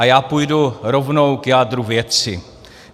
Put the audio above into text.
A já půjdu rovnou k jádru věci.